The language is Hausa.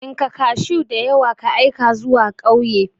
Tsinka kashuw diyawa ka aika zuwa kauye.